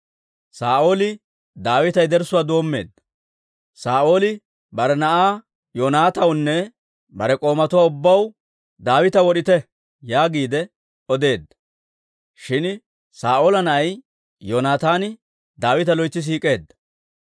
Saa'ooli bare na'aa Yoonataanawunne bare k'oomatuwaa ubbaw, «Daawita wod'ite» yaagiide odeedda; shin Saa'oola na'ay Yoonataani Daawita loytsi siik'eedda.